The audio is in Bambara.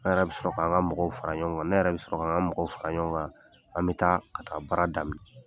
An yɛrɛ bɛ sɔrɔ k'an ka mɔgɔw fara ɲɔgɔn kan. Ne yɛrɛ bɛ sɔrɔ k'an ka mɔgɔw fara ɲɔgɔn kan, an bɛ taa ka taa baara daminɛ.